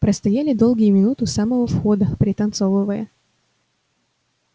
простояли долгие минуты у самого входа пританцовывая